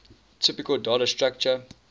typical data structure